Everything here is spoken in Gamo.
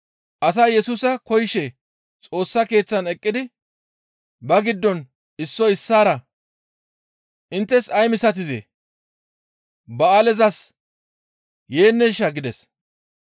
Asay Yesusa koyishe Xoossa Keeththan eqqidi ba giddon issoy issaara, «Inttes ay misatizee? Ba7aalezas yeenneshaa?» gides.